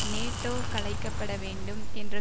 NATO கலைக்கப்பட வேண்டும் என்ற